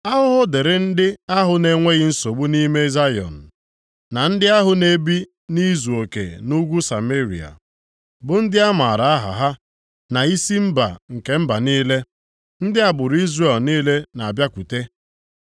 Ahụhụ dịrị ndị ahụ na-enweghị nsogbu nʼime Zayọn, na ndị ahụ na-ebi nʼizuoke nʼugwu Sameria, bụ ndị a maara aha ha na isi mba nke mba niile, ndị agbụrụ Izrel niile na-abịakwute.